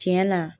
Tiɲɛ na